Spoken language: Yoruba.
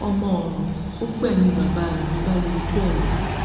ọmọ ọràn ó gbẹmí bàbá rẹ ló bá yọ ojú ẹ lọ